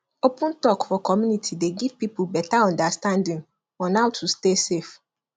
open talk for community dey give people better understanding on how to stay safe